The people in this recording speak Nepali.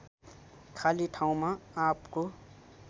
खाली ठाउँमा आँपको